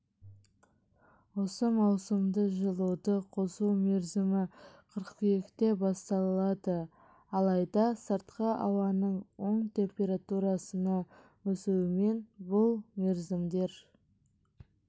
осы маусымда жылуды қосу мерзімі қыркүйекте басталады алайда сыртқы ауаның оң температурасыны өсуімен бұл мерзімдер